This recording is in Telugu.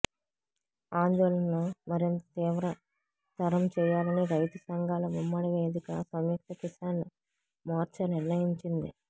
ఆందోళనను మరింత తీవ్రతరం చేయాలని రైతు సంఘాల ఉమ్మడి వేదిక సంయుక్త కిసాన్ మోర్చా నిర్ణయించింది